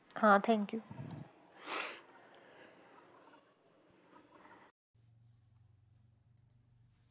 हां, thank you.